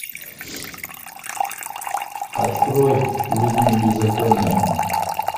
открой в ритме беззакония